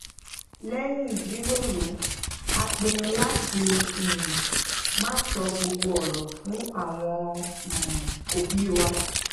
léyìn jíròrò a pinnu lati um ma so gbogbo oro fun awon um obi wa